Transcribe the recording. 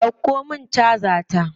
Dauko min caja ta.